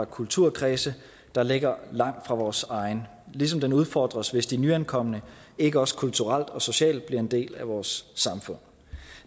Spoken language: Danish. kulturkredse der ligger langt fra vores egen ligesom den udfordres hvis de nyankomne ikke også kulturelt og socialt bliver en del af vores samfund